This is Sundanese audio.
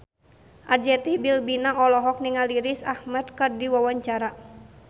Arzetti Bilbina olohok ningali Riz Ahmed keur diwawancara